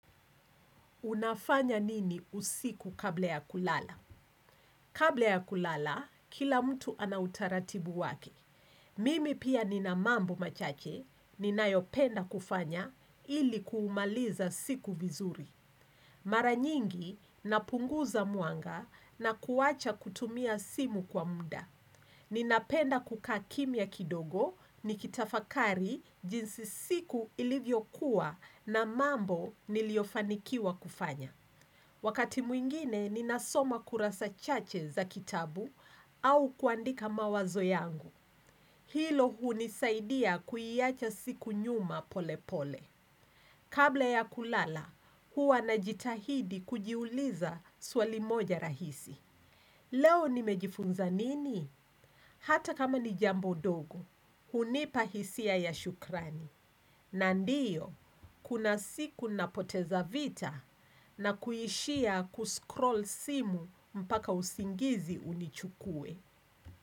Unafanya nini usiku kabla ya kulala? Kabla ya kulala, kila mtu ana utaratibu wake. Mimi pia nina mambo machache, ninayopenda kufanya ili kuumaliza siku vizuri. Mara nyingi, napunguza mwanga na kuwacha kutumia simu kwa mda. Ninapenda kukaa kimya kidogo, nikitafakari jinsi siku ilivyokuwa na mambo niliofanikiwa kufanya. Wakati mwingine, ninasoma kurasa chache za kitabu au kuandika mawazo yangu. Hilo hunisaidia kuiacha siku nyuma pole pole. Kabla ya kulala, huwa najitahidi kujiuliza swali moja rahisi. Leo nimejifunza nini? Hata kama ni jambo dogo, hunipa hisia ya shukrani. Na ndiyo, kuna siku napoteza vita na kuishia kuscroll simu mpaka usingizi unichukue.